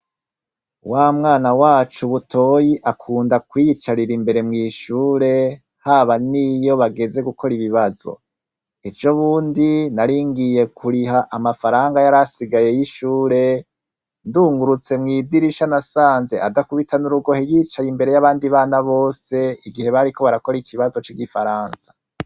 Wamwana wacu Butoyi akunda kwiyicarira imbere mwishuri haba n' iyo bageze gukora ibibazo ejo bundi naringiye kuriha amafaranga yarasigaye y' ishure ndungurutse mwidirisha nasanze adakubitsa n' urugohe yicaye imbere y' abana bose igihe bariko barakora ikibazo c' igifaransa.